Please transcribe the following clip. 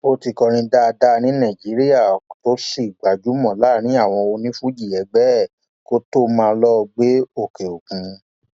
ó ti kọrin dáadáa ní nàìjíríà tó sì gbajúmọ láàrin àwọn onífuji ẹgbẹ ẹ kó tóó máa lọọ gbé òkèòkun